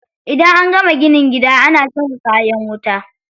Idan an gama ginin gida ana saka kayan wuta.